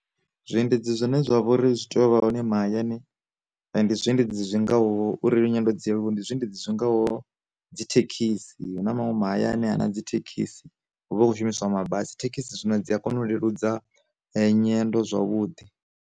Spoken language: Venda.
Zwi endedzi zwine zwa vha uri zwi tea u vha hone mahayani, ndi zwiendedzi zwi ngaho uri ndi zwiendedzi zwi ngaho, dzi thekhisi hu na manwe ma hayani a na dzi thekhisi hu vha hu khou shumiswa mabasi thekhisi zwino dzi a kona u leludza nyendo zwavhuḓi.